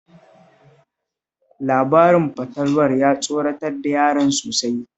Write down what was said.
Labarin fatalwar ya tsoratar da yaran sosai